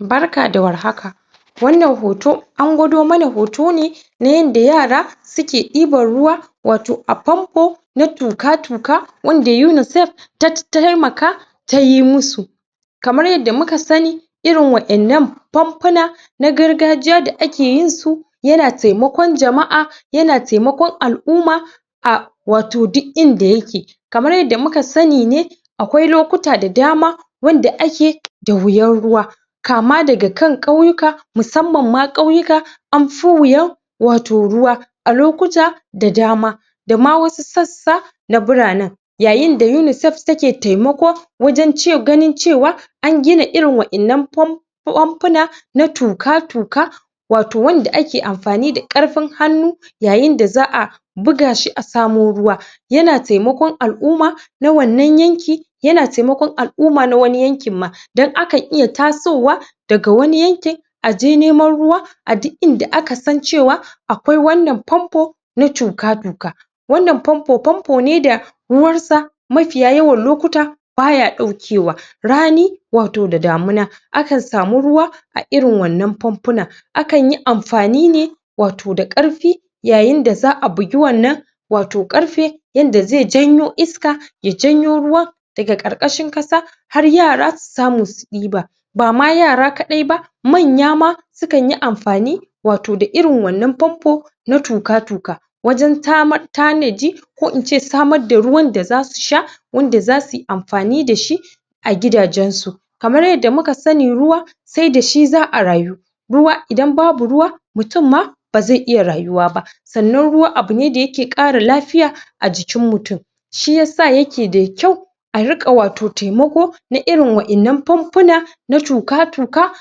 Barka da Warhaka wannan hoto an gwado mana hoto ne na yadda yara suke ɗibar ruwa wato a famfo na tuƙa-tuƙa wanda UNICAF ta taimaka tayi musu kamar yadda muka sani irin wa'yan nan famfona na gargajiya da ake yin su yana taimakon jama'a yana taimakon al'umma a wato dik inda yake kamar yadda muka sani ne akwai lokuta da dama wanda ake da wuyar ruwa kama daga kan ƙauyika, musammam ma ƙauyika amf wuyar wato ruwa a lokuta da dama dama wasu sassa na bura nan yayin da UNICAF take taimako wajan ce, ganin cewa an gina irin wa'yan an famf famfona na tuƙa-tuƙa wato wanda ake amfani da ƙarfin hannu yayin da za'a buga shi a samo ruwa yana taimakon al'umma na wannan yanki yana taimakon al'umma na wani yankin ma, dan akan iya tasowa daga wani yanki aje neman ruwa a duk inda aka san cewa akwai wannan famfo na tuƙa-tuƙa wannan famfo, famfo ne da ruwar sa mafiya yawan lokuta baya ɗaukewa, rani wato da damina akan sami ruwa a irin wannan famfona akan yi amfani ne wato da ƙarfi yayin da za'a bigi wannan wato ƙarfe yadda zai janyo iska, ya janyo ruwan daga ƙarƙashin ƙasa har yara su samu su ɗiba bama yara kaɗai ma, manya ma sukan yi amfani wato da irin wannan famfo na tuƙa-tuƙa wajan tamar tanaji ko ince samar da ruwan da zasu sha wanda zasu amfani dashi a gidajen su kamar yadda muka sani ruwa sai dashi za'a rayu ruwa, idan babu ruwa, mutum ma ba zai iya rayuwa ba sannan ruwa abune da yake ƙara lafiya a jikin mutum shiyasa yake da kyua a riƙa wato taimako na irin wa'yan nan famfona na tuƙa-tuƙa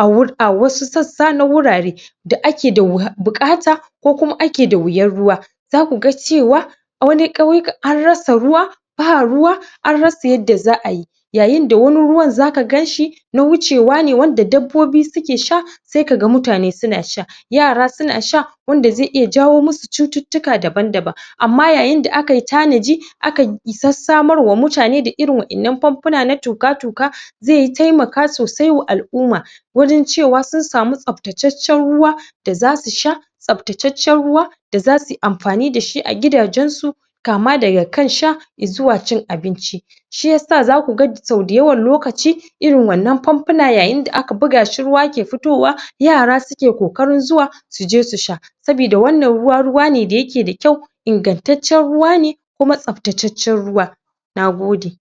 a wur a wasu sassa na wurare da ake da wuy buƙata ko kuma ake da wuyar ruwa zaku ga cewa a wani ƙauyika an rasa ruwa ba ruwa an rasa yadda za'a yi yayin da wani ruwan zaka ganshi na wucewa ne wanda dabbobi suke sha sai kaga mutane suna sha, yara suna sha wanda zai iya jawo musu cututtuka daban daban amma yayin da aki tanaji aka um sasamarwa mutane irin wa'yan nan famfona na tuƙa-tuƙa zai taimaka sosai wa al'umma wajan cewa sun samu tsaftaccen ruwa da zau sha tsaftaccen ruwa da zauyi amfani dashi a gidajen su kama daga kan sha, izuwa cin abinci shiyasa zasu ga sau da yawan lokaci irin wannan famfona yayin da aka buga shi ruwa ke fitowa, yara suke ƙoƙarin zuwa zuje su sha sabida wannan ruwa, ruwa ne da yake da kyua ingantaccen ruwa ne kuma tsaftaccen ruwa. Nagode